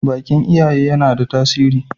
bakin iyaye yana da tasiri